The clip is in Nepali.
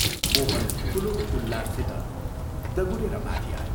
मोहन ठूलो उल्लाससित दगुरेर माथि आयो।